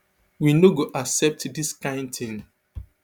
we no go accept dis kind tin